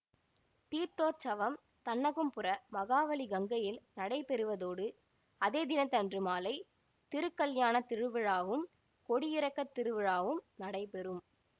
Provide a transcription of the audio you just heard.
தீர்த்தோற்சவம் தன்னகும்புர மகாவலி கங்கையில் நடைபெறுவதோடு அதே தினத்தன்று மாலை திருக்கல்யாணத் திருவிழாவும் கொடியிறக்கத் திருவிழாவும் நடைபெறும்